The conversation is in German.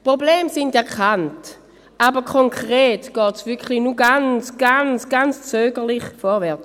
Die Probleme sind erkannt, aber konkret geht es wirklich nur ganz, ganz, ganz zögerlich vorwärts.